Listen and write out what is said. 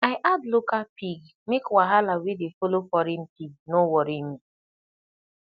i add local pig make wahala wey dey follow foreign pig no worry me